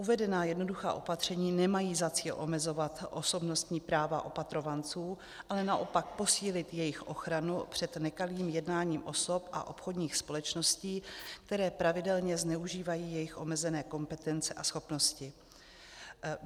Uvedená jednoduchá opatření nemají za cíl omezovat osobnostní práva opatrovanců, ale naopak posílit jejich ochranu před nekalým jednáním osob a obchodních společností, které pravidelně zneužívají jejich omezené kompetence a schopnosti.